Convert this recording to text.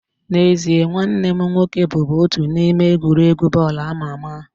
N'ezie, nwanne m nwoke bụbu otu n'ime egwuregwu bọọlụ ama ama